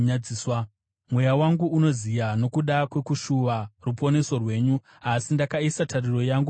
Mweya wangu unoziya nokuda kwekushuva ruponeso rwenyu, asi ndakaisa tariro yangu pashoko renyu.